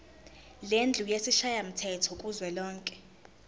lendlu yesishayamthetho kuzwelonke